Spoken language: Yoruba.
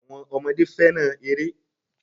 Àwọn ọmọdé fẹ́ràn eré.